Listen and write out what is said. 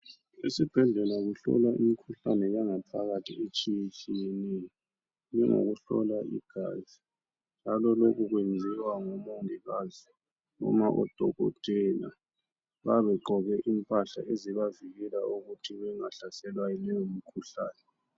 Isibhedlela kuhlolwa imikhuhlane yangaphakathi etshiyetshiyeneyo njengokuhlola igazi njalo lokhu kwenziwa ngomongikazi noma odokotela babe begqoke impahla ezibavikela ukuthi bengahlaselwa yiloyo mkhuhlane.